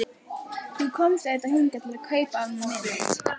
Þú komst auðvitað hingað til að kaupa af mér mynd.